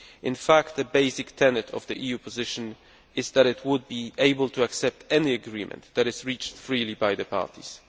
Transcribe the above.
In fact, a basic tenet of the EU position is that it would be able to accept any agreement that is reached freely by the parties.